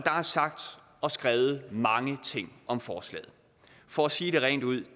er sagt og skrevet mange ting om forslaget for at sige det rent ud